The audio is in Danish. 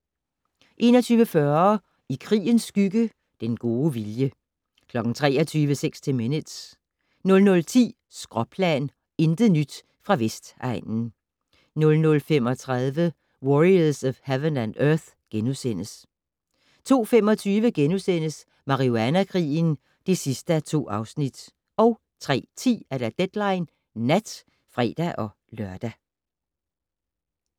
21:40: I krigens skygge - Den gode vilje 23:00: 60 Minutes 00:10: Skråplan - intet nyt fra Vestegnen 00:35: Warriors of Heaven and Earth * 02:25: Marihuana-krigen (2:2)* 03:10: Deadline Nat (fre-lør)